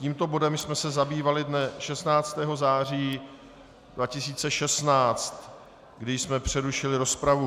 Tímto bodem jsme se zabývali dnem 16. září 2016, kdy jsme přerušili rozpravu.